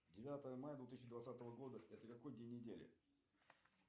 девятое мая две тысячи двадцатого года это какой день недели